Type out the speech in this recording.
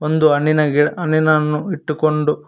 ಒಂದು ಹಣ್ಣಿನ ಗಿಡ ಹಣ್ಣಿನನ್ನು ಇಟ್ಟುಕೊಂಡು--